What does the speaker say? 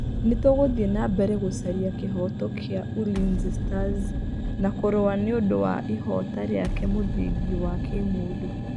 Nĩ tũgũthiĩ na mbere gũcaria kĩhooto kĩa Ulinzi Stars na kũrũa nĩ ũndũ wa ĩhooto gĩake mũthingi wa kimũndũ.